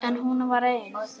En hún var ein.